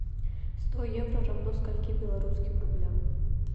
сто евро равно скольки белорусским рублям